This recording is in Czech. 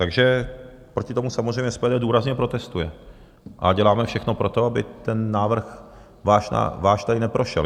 Takže proti tomu samozřejmě SPD důrazně protestuje a děláme všechno pro to, aby ten váš návrh tady neprošel.